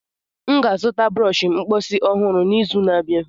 M ga-azụta brọsh mposi ọhụrụ n'izu na-abịa.